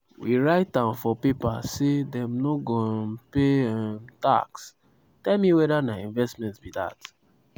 we write am for paper say dem no go um pay um tax tell me weda na investment be dat".